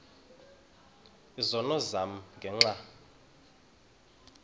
izono zam ngenxa